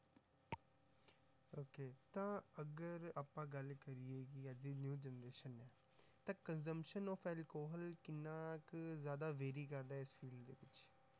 Okay ਤਾਂ ਅਗਰ ਆਪਾਂ ਗੱਲ ਕਰੀਏ ਕਿ ਅੱਜ ਦੀ new generation ਹੈ, ਤਾਂ consumption of alcohol ਕਿੰਨਾ ਕੁ ਜ਼ਿਆਦਾ vary ਕਰਦਾ ਹੈ ਇਸ ਚੀਜ਼ ਦੇ ਪਿੱਛੇ?